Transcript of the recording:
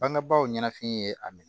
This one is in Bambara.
Bangebaaw ɲɛnafin ye a minɛ